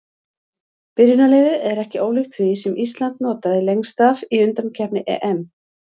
Byrjunarliðið er ekki ólíkt því sem Ísland notaði lengst af í undankeppni EM.